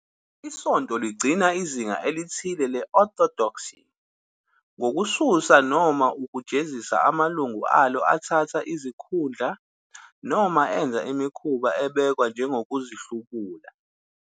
Isonto ligcina izinga elithile le-orthodoxy ngokususa noma ukujezisa amalungu alo athatha izikhundla noma enza imikhuba ebhekwa njengokuhlubuka.